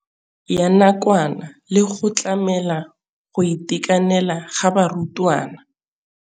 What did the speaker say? ya nakwana le go tlamela go itekanela ga barutwana.